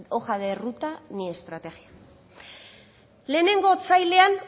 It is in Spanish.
hoja de ruta ni estrategia lehenengo otsailean